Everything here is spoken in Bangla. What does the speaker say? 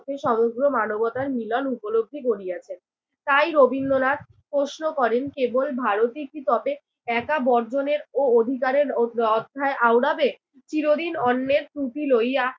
মধ্যে সমগ্র মানবতার মিলন উপলব্ধি করিয়াছেন। তাই রবীন্দ্রনাথ প্রশ্ন করেন, কেবল ভারতই কি একা বর্জনের ও অধিকারের অ অধ্যায় আওড়াবে? চিরদিন অন্যের টুপি লইয়া